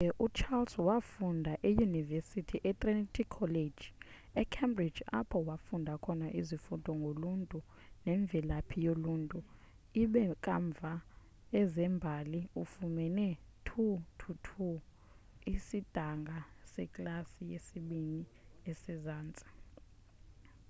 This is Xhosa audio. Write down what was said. kodwa ke ucharles wafunda eyunivesithi etrinity college ecambridge apho wafunda khona izifundo ngoluntu nemvelaphi yoluntu ibe kamva ezembali efumana 2:2 isidanga seklasi yesibini esezantsi